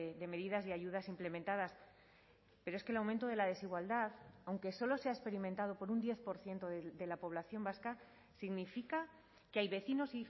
de medidas y ayudas implementadas pero es que el aumento de la desigualdad aunque solo sea experimentado por un diez por ciento de la población vasca significa que hay vecinos